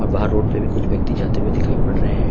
बाहर रोड पे भी कुछ व्यक्ति जाते हुए दिखाई पड़ रहे हैं।